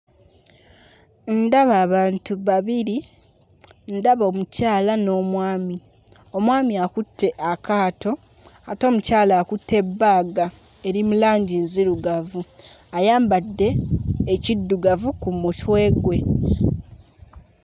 Ndaba abantu babiri ndaba omukyala n'omwami; omwami akutte akaato ate omukyala akutte bbaga eri mu langi nzirugavu ayambadde ekiddugavu ku mutwe gwe.